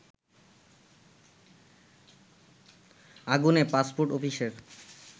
আগুনে পাসপোর্ট অফিসের